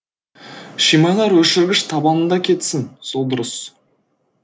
шимайлар өшіргіш табанында кетсін сол дұрыс